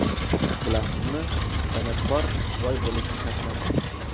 Bilasizmi, san’atkor boy bo‘lishi shartmas.